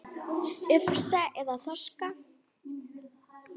Ufsa eða þorska?